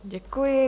Děkuji.